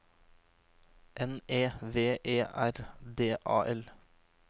N E V E R D A L